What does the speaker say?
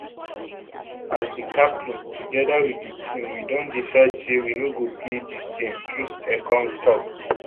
as di captain togeda wit di team we don decide say we no go play dis game troostekong tok